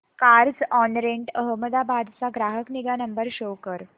Carzonrent Ahmedabad चा ग्राहक निगा नंबर शो कर